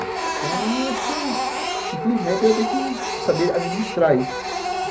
Então, acho que, infelizmente, eu tenho que saber administrar isso.